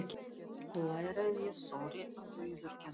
Lægra en ég þori að viðurkenna.